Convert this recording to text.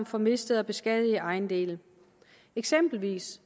for mistede og beskadigede ejendele eksempelvis